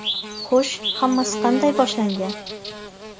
Xo‘sh, hammasi qanday boshlangan?